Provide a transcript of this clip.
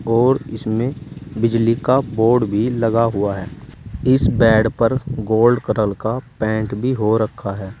और इसमें बिजली का बोर्ड भी लगा हुआ है इस बेड पर गोल्ड करल का पेंट भी हो रखा है।